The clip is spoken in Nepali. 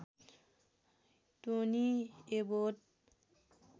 Tony Abbott